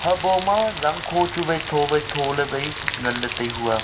habo ma zangkho chu wai tho wai tho le wai ngan le tai hua.